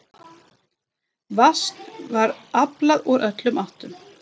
Vatns var aflað úr öllum áttum.